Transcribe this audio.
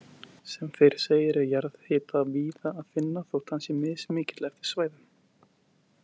Sem fyrr segir er jarðhita víða að finna, þótt hann sé mismikill eftir svæðum.